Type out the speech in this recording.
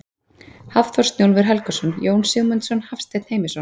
Hafþór Snjólfur Helgason, Jón Sigmundsson, Hafsteinn Heimisson.